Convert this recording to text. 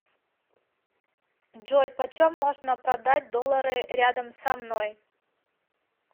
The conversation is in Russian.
джой почем можно продать доллары рядом со мной